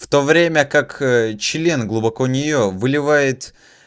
в то время как член глубоко нее выливает